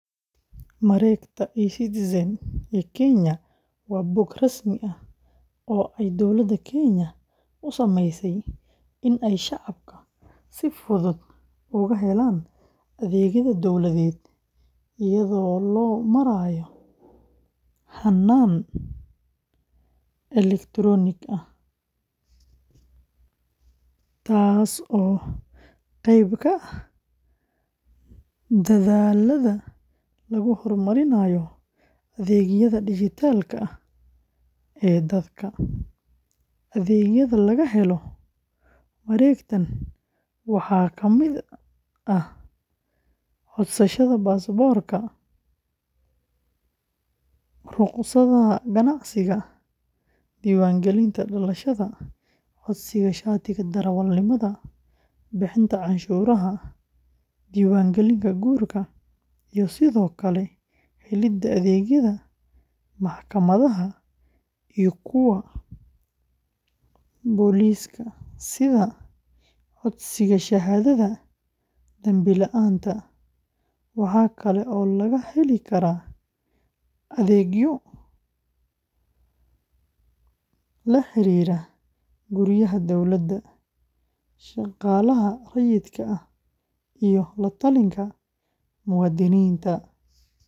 Mareegta eCitizen ee Kenya waa bog rasmi ah oo ay dawladda Kenya u sameysay in ay shacabka si fudud uga helaan adeegyada dawladeed iyadoo loo marayo hannaan elektaroonig ah, taasoo qayb ka ah dadaallada lagu hormarinayo adeegyada dijitaalka ah ee dalka. Adeegyada laga helo mareegtan waxaa ka mid ah codsashada baasaboorka, rukhsadaha ganacsiga, diiwaangelinta dhalashada, codsiga shatiga darawalnimada, bixinta canshuuraha, diiwaangelinta guurka, iyo sidoo kale helidda adeegyada maxkamadaha iyo kuwa booliska sida codsiga shahaadada dambila’aanta. Waxa kale oo laga heli karaa adeegyo la xiriira guryaha dawladda, shaqaalaha rayidka ah iyo la-talinta muwaadiniinta.